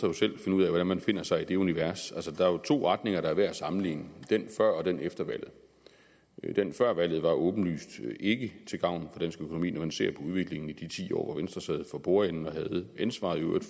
jo selv finde ud af hvordan man befinder sig i det univers altså der er to retninger der er værd at sammenligne den før og den efter valget den før valget var åbenlyst ikke til gavn for økonomi når man ser på udviklingen i de ti år hvor venstre sad for bordenden og havde ansvaret i øvrigt